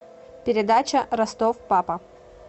передача ростов папа